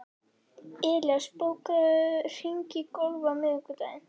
Elías, bókaðu hring í golf á miðvikudaginn.